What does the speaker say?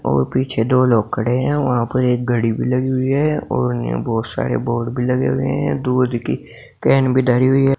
और पीछे दो लोग खड़े हैं और वहां पर एक घड़ी भी लगी हुई है और यहां बहुत सारे बोर्ड भी लगे हुए हैं दूध की कैन भी धरी हुई है।